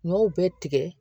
N y'o bɛɛ tigɛ